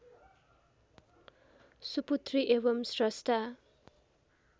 सुपुत्री एवम् श्रष्टा